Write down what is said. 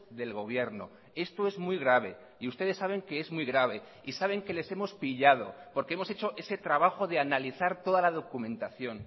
del gobierno esto es muy grave y ustedes saben que es muy grave y saben que les hemos pillado porque hemos hecho ese trabajo de analizar toda la documentación